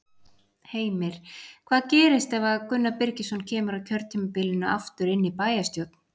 Heimir: Hvað gerist ef að Gunnar Birgisson kemur á kjörtímabilinu aftur inn í bæjarstjórn?